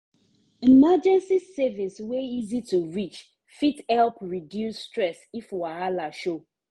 emergency savings wey easy to reach fit help reduce stress if wahala show.